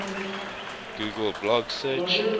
google blog search